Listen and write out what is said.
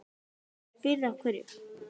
Þú spyrð af hverju.